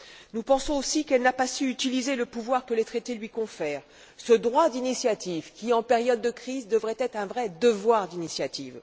Nous pensons aussi qu'elle n'a pas su utiliser le pouvoir que les Traités lui confèrent, ce droit d'initiative qui, en période de crise, devrait être un vrai devoir d'initiative.